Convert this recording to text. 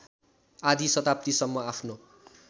आधी शताब्दीसम्म आफ्नो